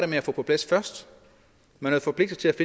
med at få på plads man havde forpligtet